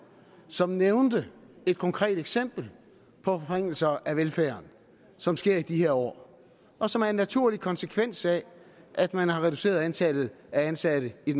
som nævnte et konkret eksempel på forringelser af velfærden som sker i de her år og som er en naturlig konsekvens af at man har reduceret antallet af ansatte i